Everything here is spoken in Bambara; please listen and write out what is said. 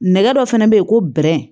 Nɛgɛ dɔ fana be yen ko